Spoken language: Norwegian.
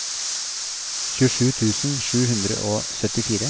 tjuesju tusen sju hundre og syttifire